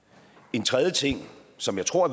en tredje ting som jeg tror